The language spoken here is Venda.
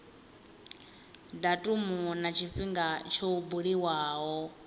datumu na tshifhinga tsho buliwaho